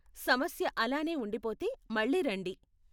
సమస్య అలానే ఉండిపోతే మళ్ళీ రండి.